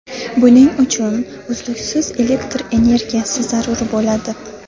Buning uchun uzluksiz elektr energiyasi zarur bo‘ladi.